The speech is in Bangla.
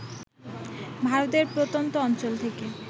ভারতের প্রত্যন্ত অঞ্চল থেকে